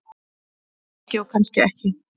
Kannski og kannski ekki.